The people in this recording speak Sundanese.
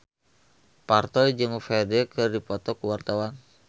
Parto jeung Ferdge keur dipoto ku wartawan